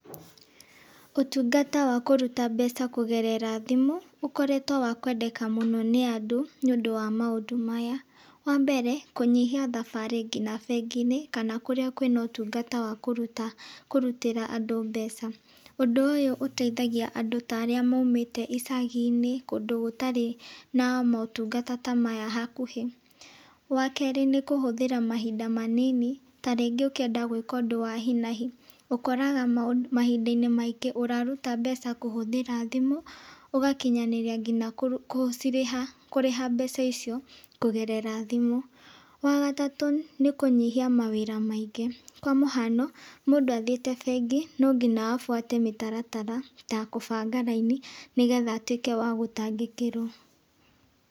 Ũtungata wa kũruta mbeca kũgerera thimũ, ũkoretwo wa kwendeka mũno nĩ andũ nĩ ũndũ wa maũndũ maya. Wa mbere kũnyihia thabarĩ nginya bengi-inĩ kana kũrĩa kwĩna ũtungata wa kũruta kũrutĩra andũ mbeca, ũndũ ũyũ ũteithagia andũ ta arĩa maumĩte icagi-inĩ kũndũ gũtarĩ na motungata ta maya hakuhĩ, wa kerĩ nĩ kũhũthĩra mahinda manini ta rĩngĩ ũkĩenda gwĩka ũndũ wa hinahi ũkoraga mahinda-inĩ maingĩ ũraruta mbeca kũhũthĩra thimũ , ũgakinyanĩria nginya kũrĩha mbeca icio kũgerera thimũ, wa gatatũ nĩ kũnyihia mawĩra maingĩ , kwa mũhano mũndũ athiĩte bengi no nginya abuate mĩtaratara ta gũbanga raini , nĩgetha atwĩke wa gũtangĩkĩrwo.